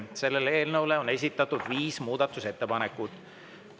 Selle eelnõu kohta on esitatud viis muudatusettepanekut.